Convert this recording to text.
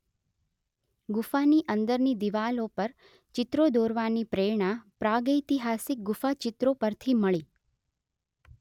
ગુફાની અંદરની દીવાલો પર ચિત્રો દોરવાની પ્રેરણા પ્રાગૈતિહાસિક ગુફાચિત્રો પરથી મળી